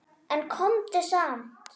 En komdu samt!